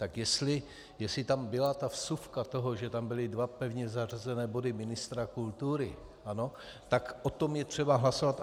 Tak jestli tam byla ta vsuvka toho, že tam byly dva pevně zařazené body ministra kultury, ano, tak o tom je třeba hlasovat.